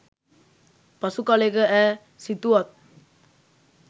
පසු කලෙක ඈ සිතුවත්